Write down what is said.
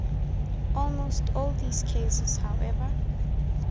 almost all these cases however